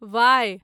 Y